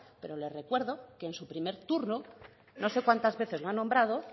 pero le recuerdo que en su primer turno no sé cuántas veces lo ha nombrado